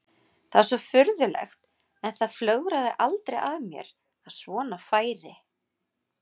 Það er svo furðulegt en það flögraði aldrei að mér að svona færi.